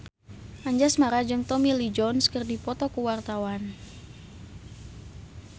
Anjasmara jeung Tommy Lee Jones keur dipoto ku wartawan